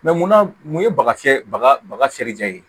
mun na mun ye baga fiyɛ baga baga fiyɛli da ye